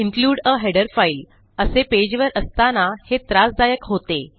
include a header file असे पेजवर असताना हे त्रासदायक होते